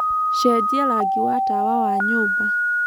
cenjĩa rangĩ wa tawa wa nyũmba